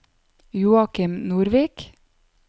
Joachim Nordvik